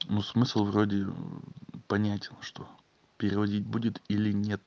ну смысл вроде понятен что переводить будет или нет